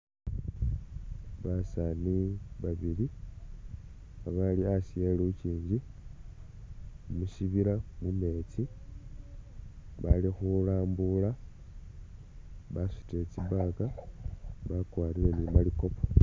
Basaani babili abali hasi e lukiingi musyibila mumeetsi, bali khulambuula basutile tsi bag, bakwarire ni malikopo.